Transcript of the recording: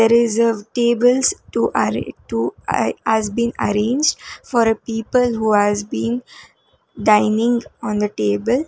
reserved tables to aare to ai has been arranged for a people who has been dining on the table.